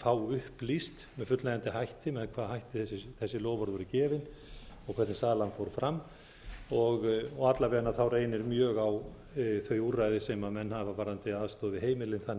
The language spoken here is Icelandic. fá upplýst með fullnægjandi hætti með hvaða hætti þessi loforð voru gefin og hvernig salan fór fram og alla vega reynir mjög á þau úrræði sem menn hafa varðandi aðstoð við heimilin þannig að